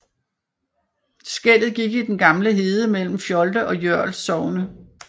Skellet gik i den gamle hede mellem Fjolde og Jørl sogne